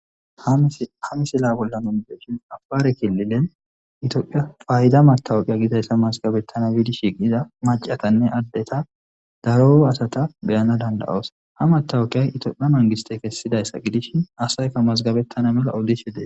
Ha misila bolla afare kililen itophiya payda matawuqe gidayssa mazggabetanaw gidi shiiqiza maccatanne addeta daro asata be7ana danda7os. Ha matawuqe itophiya mangistte kesidayssa gidishin asay asaykka mazggabetana mala oddishe de7ees.